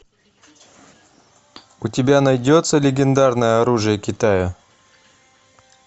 у тебя найдется легендарное оружие китая